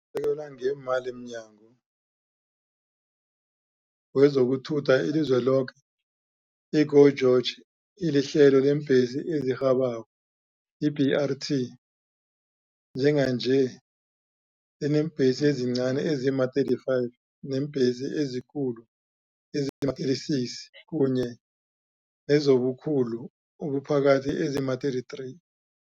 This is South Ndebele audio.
usekelwa ngeemali mNyango wezokuThutha eliZweniloke, i-GO GEORGE elihlelo leembhesi ezirhabako, i-BRT, njenganje lineembhesi ezincani ezima-35, neembhesi ezikulu ezima-36 kunye nezobukhulu obuphakathi ezima-33.